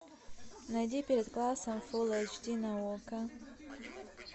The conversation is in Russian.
найди перед классом фул эйч ди на окко